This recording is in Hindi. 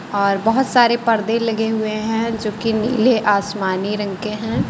और बहुत सारे पर्दे लगे हुए है जो कि नीले आसमानी रंग के है।